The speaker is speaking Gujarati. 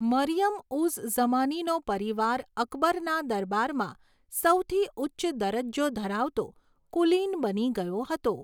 મરિયમ ઉઝ ઝમાનીનો પરિવાર અકબરના દરબારમાં સૌથી ઉચ્ચ દરજ્જો ધરાવતો કુલીન બની ગયો હતો.